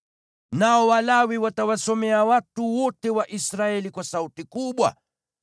Nao Walawi watawasomea watu wote wa Israeli kwa sauti kubwa: